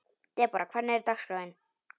Debora, hvernig er dagskráin?